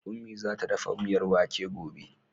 Ummi za ta dafa miyar wake gobe.